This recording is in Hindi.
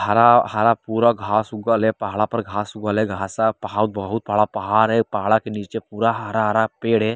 हरा हरा पूरा घाँस उगले पहाड़ पर घास उगाल है घास बहुत बड़ा पहाड़ है पहाड़ के नीचे पूरा हरा-हरा पेड़ है।